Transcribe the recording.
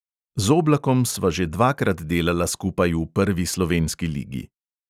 Z oblakom sva že dvakrat delala skupaj v prvi slovenski ligi.